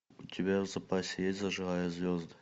у тебя в запасе есть зажигая звезды